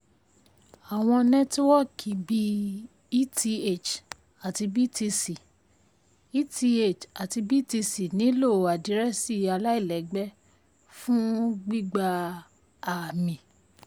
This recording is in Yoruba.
àwọn nẹ́tíwọ́kì bí eth àti btc eth àti btc nílò àdírẹ́sì aláìlẹ́gbẹ́ fún gbígba um ààmì.